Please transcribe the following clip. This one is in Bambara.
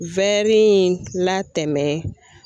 in latɛmɛn